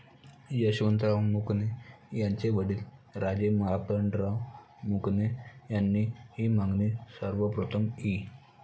यशवंतराव मुकणे यांचे वडील राजे मार्तंडराव मुकणे यांनी हि मागणी सर्वप्रथम इ.